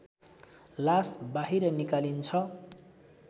लास बाहिर निकालिन्छ